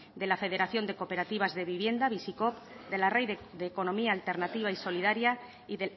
de la federación de cooperativas de vivienda bizikoop de la red de economía alternativa y solidaria y